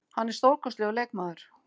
Hann er stórkostlegur leikmaður.